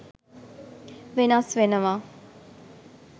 වෙනස් වෙනවා.